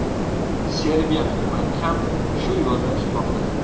Serbiya hukumati ham shu yo‘lni tutmoqda.